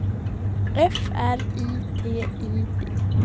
F R I T I D